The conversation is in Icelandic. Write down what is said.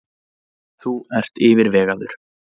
Þú ert yfirvegaður.